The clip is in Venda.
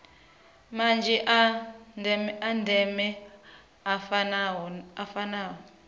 manzhi a ndeme a fanaho